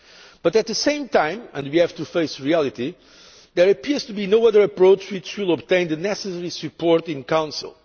But at the same time and we have to face reality there appears to be no other approach which will obtain the necessary support in Council.